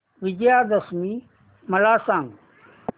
विजयादशमी मला सांग